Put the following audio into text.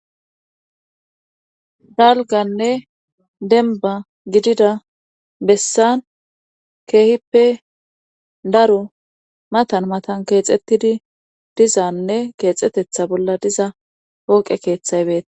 Galganne denba gidida bessan keehippe daro matan matan keexettidi dizanne keexetetha bolla diza pooqe keeththaybeta.